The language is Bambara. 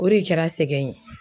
O re kɛra sɛgɛn ye.